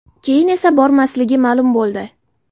Keyin esa bormasligi ma’lum bo‘ldi.